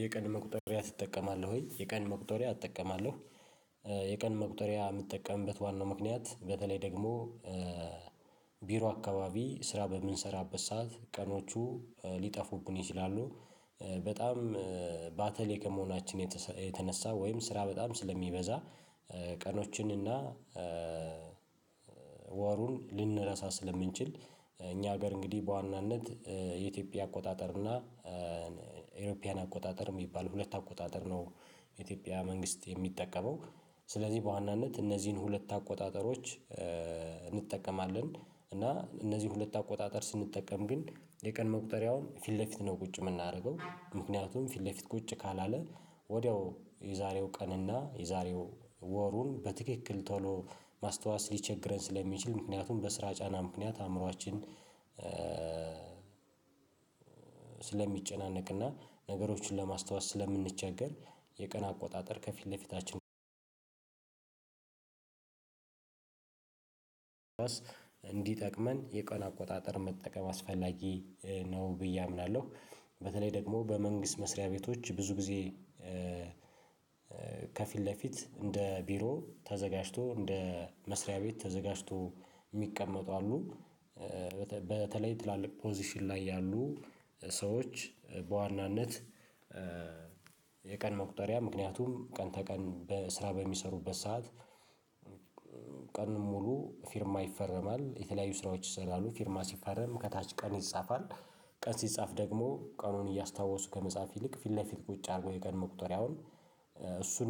የቀን መቁጠሪያ ትጠቀማለህ ወይ? የቀን መቁጠሪያ እጠቀማለሁ። የቀን መቁጠሪያ የምጠቀምበት ዋናው ምክንያት በተለይ ደግሞ ቢሮ አካባቢ ስራ በምንሰራበት ሰዓት ቀኖቹ ሊጠፉብን ይችላሉ። በጣም ባተሌ ከመሆናችን የተነሳ ወይም ስራ በጣም ስለሚበዛ ቀኖችን እና ወሩን ልንረሳ ስለምንችል እኛ ሀገር እንግዲህ በዋናነት የኢትዮጵያ አቆጣጠር እና የኢሮፒያን አቆጣጠር የሚባል ሁለት አቆጣጠር ነው። የኢትዮጵያ መንግስት የሚጠቀመው። ስለዚህ በዋናነት እነዚህን ሁለት አቆጣጠሮች እንጠቀማለን። እና እነዚህን ሁለት አቆጣጠር ስንጠቀም ግን የቀን መቁጠሪያውን ፊት ለፊት ነው ቁጭ የምናደርገው ምክንያቱም ፊት ለፊት ቁጭ ካላለ ወዲያው የዛሬው ቀንና የዛሬው ወሩን በትክክል ቶሎ ማስታወስ ሊቸግረን ስለሚችል ምክንያቱም በስራ ጫና ምክንያት አእምሮአችን ስለሚጨናነቅና ነገሮችን ለማስታወስ ስለምንቸገር። የቀን አቆጣጠር ከፊት ለፊታችን እንዲጠቅመን የቀን አቆጣጠር መጠቀም አስፈላጊ ነው ብዬ አምናለሁ። በተለይ ደግሞ በመንግስት መስሪያ ቤቶች ብዙ ጊዜ ፊት ለፊት እንደ ቢሮ ተዘጋጅቶ እንደ መስሪያ ቤት ተዘጋጅቶ የሚቀመጡ አሉ። በተለይ ትላልቅ ፖዚሽን ላይ ያሉ ሰዎች በዋናነት የቀን መቁጠሪያ ምክንያቱም ቀን ተቀን በስራ በሚሰሩበት ሰዓት ቀኑን ሙሉ ፊርማ ይፈረማል የተለያዩ ስራዎች ይስራሉ ፊርማ ሲፈረም ከታች ቀን ይጻፋል። ቀን ሲጻፍ ደግሞ ቀኑን እያስታወሱ ከመጻፍ ይልቅ ፊት ለፊት ቁጭ አድርጎ የቀን መቁጠሪያውን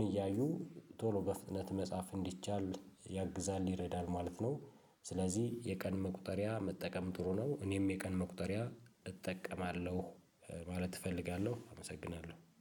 እያዩ ቶሎ በፍጥነት መጻፍ እንዲቻል ያግዛል ይረዳል ማለት ነው። ስለዚህ የቀን መቁጠሪያ መጠቀም ጥሩ ነው እኔም የቀን መቁጠሪያ እጠቀማለሁ። ማለት እፈልጋለሁ አመሰግናለሁ